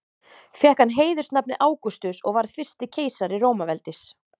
Fékk hann heiðursnafnið Ágústus og varð fyrsti keisari Rómaveldis.